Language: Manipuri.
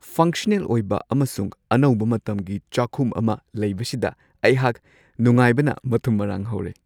ꯐꯪꯁꯅꯦꯜ ꯑꯣꯏꯕ ꯑꯃꯁꯨꯡ ꯑꯅꯧꯕ ꯃꯇꯝꯒꯤ ꯆꯥꯛꯈꯨꯝ ꯑꯃ ꯂꯩꯕꯁꯤꯗ ꯑꯩꯍꯥꯛ ꯅꯨꯡꯉꯥꯏꯕꯅ ꯃꯊꯨꯝ ꯃꯔꯥꯡ ꯍꯧꯔꯦ ꯫